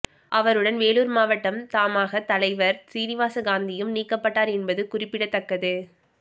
அவருடன் வேலூர் மாவட்டம் தமாக தலைவர் சீனிவாச காந்தியும் நீக்கப்பட்டார் என்பது குறிப்பிடத்தக்கது